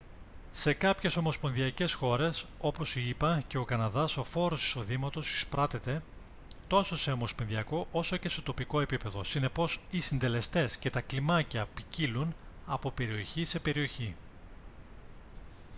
σε κάποιες ομοσπονδιακές χώρες όπως οι ηπα και ο καναδάς ο φόρος εισοδήματος εισπράττεται τόσο σε ομοσπονδιακό όσο και σε τοπικό επίπεδο συνεπώς οι συντελεστές και τα κλιμάκια ποικίλουν από περιοχή σε περιοχή